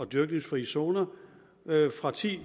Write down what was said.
dyrkningsfrie zoner fra ti